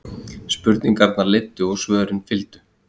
Spurningarnar leiddu og svörin fylgdu.